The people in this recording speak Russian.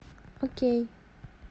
окей